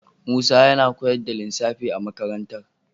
Musa yana koyar da lissafi a makarantar.